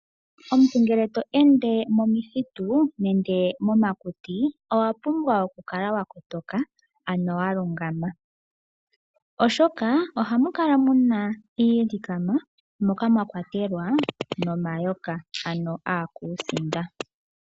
Omuntu ngele to ende momithitu nande momakuti owa pumbwa oku kala wa kotoka ano wa lungama, oshoka, ohamu kala muna iilikama moka mwa kwatelwa no mayoka ano akuusinda.